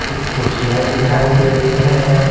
कुछ कुर्सियां दिखाई दे रही है।